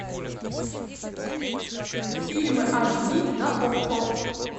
фильмы аш ди на окко